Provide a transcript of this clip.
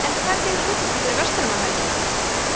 en hvernig er útlitið fyrir verslunarmannahelgina